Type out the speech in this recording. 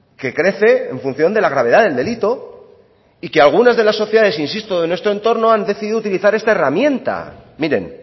que crece en función de la gravedad del delito y que algunas de las sociedades insisto de nuestro entorno han decidido utilizar esta herramienta miren